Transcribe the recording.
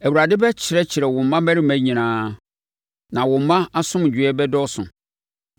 Awurade bɛkyerɛkyerɛ wo mmammarima nyinaa, na wo mma asomdwoeɛ bɛdɔɔso.